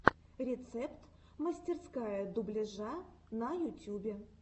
рецепт мастерская дубляжа на ютюбе